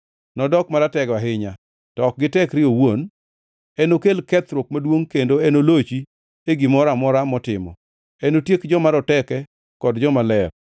Nodok maratego ahinya, to ok gi tekre owuon. Enokel kethruok maduongʼ kendo enolochi e gimoro amora motimo. Enotiek joma roteke kod jomaler.